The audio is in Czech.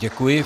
Děkuji.